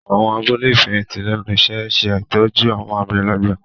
Àwọn abúlé ìfẹ̀yìntì lẹ́nu iṣẹ́ ń ṣe ìtọ́jú àwọn àgbàlagbà